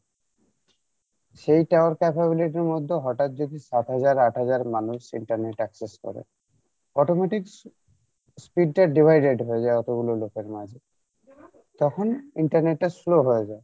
সেই tower capability এর মধ্যে হঠাৎ যদি আঠহাজার আঠহাজার মানুষ internet access করে automatic speed টা divided হয়ে যাই অতগুলো লোকের মাঝে তখন internet টা slow হয়ে যাই